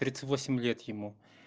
тридцать восемь лет ему